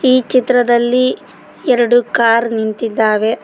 ಈ ಚಿತ್ರದಲ್ಲಿ ಎರಡು ಕಾರ್ ನಿಂತಿದ್ದಾವೆ.